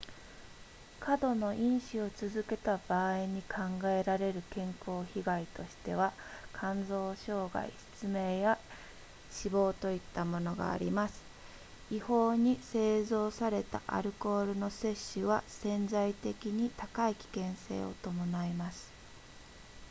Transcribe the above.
過度の飲酒を続けた場合に考えられる健康被害としては肝臓障害失明や死亡といったものがあります違法に製造されたアルコールの摂取は潜在的に高い危険性を伴います